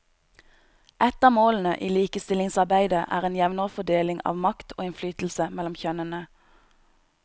Ett av målene i likestillingsarbeidet er en jevnere fordeling av makt og innflytelse mellom kjønnene.